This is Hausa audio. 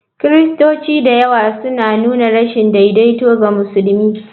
Kiristoci da yawa suna nuna rashin daidaito ga musulmi.